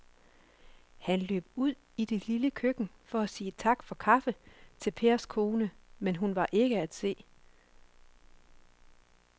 Han løb ud i det lille køkken for at sige tak for kaffe til Pers kone, men hun var ikke til at se.